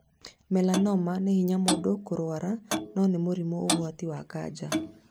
Melanoma nĩ hinya mũndũ kĩrwara no nĩ mũrimũ ugwati wa kanja